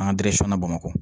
An ka na bamakɔ